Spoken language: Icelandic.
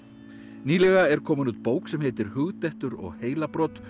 nýlega er komin út bók sem heitir hugdettur og heilabrot